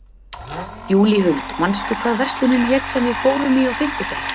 Júlíhuld, manstu hvað verslunin hét sem við fórum í á fimmtudaginn?